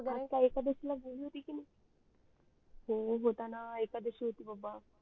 आज काय एकादशी हो होता न एकादशी होती बाबा